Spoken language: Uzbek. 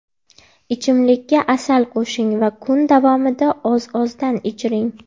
Ichimlikka asal qo‘shing va kun davomida oz-ozdan ichiring.